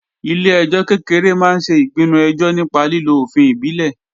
Ilé-ẹjọ́ kékeré máa ń ṣe ìpinnu ẹjọ́ nípa lílo òfin ìbílẹ̀